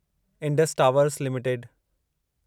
Indus Towers limited